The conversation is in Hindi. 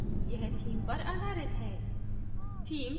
यह theme पर आधारित है